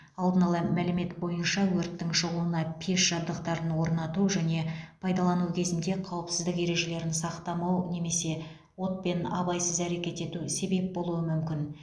алдын ала мәлімет бойынша өрттің шығуына пеш жабдықтарын орнату және пайдалану кезінде қауіпсіздік ережелерін сақтамау немесе отпен абайсыз әрекет ету себеп болуы мүмкін